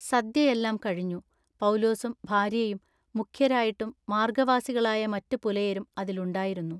സദ്യ എല്ലാം കഴിഞ്ഞു. പൗലോസും ഭാര്യയും മുഖ്യരായിട്ടും മാർഗ്ഗവാസികളായ മറ്റു പുലയരും അതിൽ ഉണ്ടായിരുന്നു.